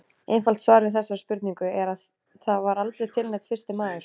Einfalt svar við þessari spurningu er að það var aldrei til neinn fyrsti maður!